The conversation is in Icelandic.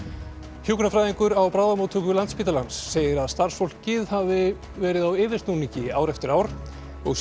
hjúkrunarfræðingur á bráðamóttöku Landspítalans segir að starfsfólkið hafi verið á yfirsnúningi ár eftir ár og sé